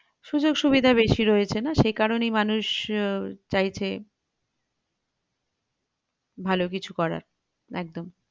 সুযোগ সুবিধা বেশি রয়েছে না সেই কারণেই মানুষ আহ চাইছে ভালো কিছু করার একদম